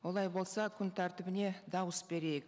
олай болса күн тәртібіне дауыс берейік